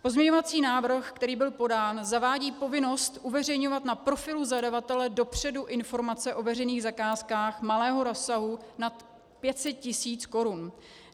Pozměňovací návrh, který byl podán, zavádí povinnost uveřejňovat na profilu zadavatele dopředu informace o veřejných zakázkách malého rozsahu nad 500 tisíc korun.